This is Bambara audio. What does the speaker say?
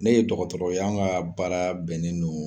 Ne ye dɔgɔtɔrɔ ye an ka baara bɛnnen don.